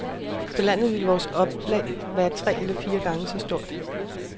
På landet ville vores oplag være tre eller fire gange så stort.